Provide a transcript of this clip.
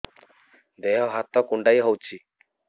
ଦେହ ହାତ କୁଣ୍ଡାଇ ହଉଛି